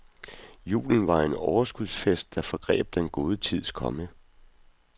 Julen var en overskudsfest, der foregreb den gode tids komme.